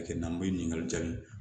Kɛ n'an be ɲininkali jaabi